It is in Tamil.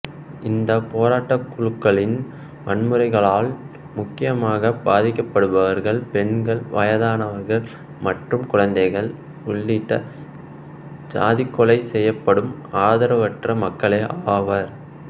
இந்தப் போராட்டக்குழுக்களின் வன்முறைகளால் முக்கியமாக பாதிக்கப்படுபவர்கள் பெண்கள் வயதானர்கள் மற்றும் குழந்தைகள் உள்ளிட்ட சாதிப்படுகொலை செய்யப்படும் ஆதரவற்ற மக்களே ஆவர்